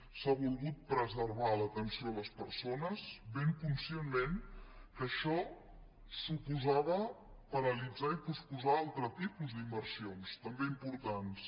s’ha volgut preservar l’atenció a les persones ben conscientment que això suposava paralitzar i posposar altre tipus d’inversions també importants